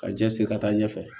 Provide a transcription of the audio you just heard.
Ka cɛsiri ka taa ɲɛfɛ